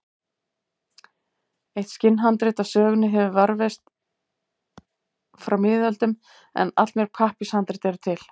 Eitt skinnhandrit af sögunni hefur varðveist frá miðöldum en allmörg pappírshandrit eru til.